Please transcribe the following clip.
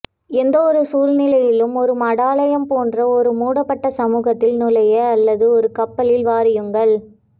எந்த சூழ்நிலையிலும் ஒரு மடாலயம் போன்ற ஒரு மூடப்பட்ட சமூகத்தில் நுழைய அல்லது ஒரு கப்பலில் வாரியுங்கள்